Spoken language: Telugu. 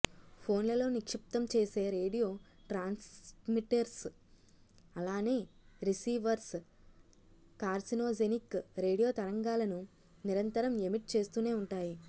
ఫోన్లలో నిక్షిప్తం చేసే రేడియో ట్రాన్స్మిటర్స్ అలానే రిసీవర్స్ కార్సినోజెనిక్ రేడియో తరంగాలను నిరంతరం ఎమిట్ చేస్తూనే ఉంటాయి